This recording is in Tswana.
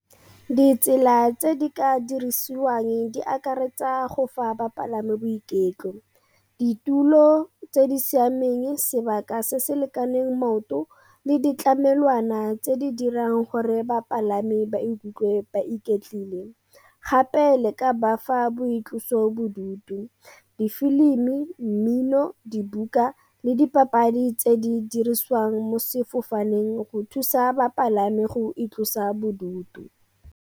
Ditsela tse di ka dirisiwang di akaretsa go fa bapalami boiketlo, ditulo tse di siameng, sebaka se se lekaneng maoto le ditlamelwana tse di dirang gore bapalami ba ikutlwe ba iketle. Gape le ka bafa boitlosobodutu, difilimi, mmino, dibuka le dipapadi tse di dirisiwang mo sefofaneng go thusa bapalami go itlosa bodutu.